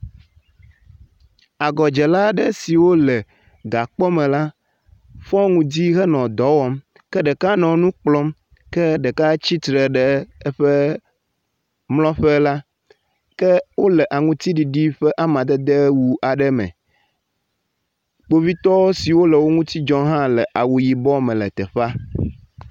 Agɔdzela aɖe siwo le gakpɔme la fɔ ŋdi henɔ dɔ wɔm ke ɖeka nɔ nu kplɔm ke ɖeka tsitre ɖe eƒe mlɔƒe la. Ke wole aŋtsiɖiɖi ƒe amadede wu aɖe me. Kpovitɔ siwo le wo ŋuti dzɔm hã le awu yibɔ me le teƒea.